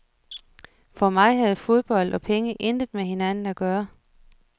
For mig havde fodbold og penge intet med hinanden at gøre.